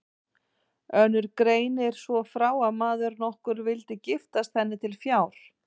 Önnur greinir svo frá að maður nokkur vildi giftast henni til fjár.